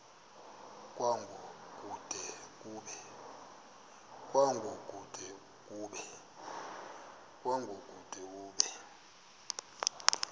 kwango kude kube